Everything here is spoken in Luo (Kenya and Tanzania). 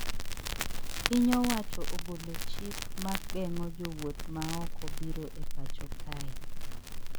Piny owacho ogolo chik mageng`o jowuoth maoko biro e pacho kae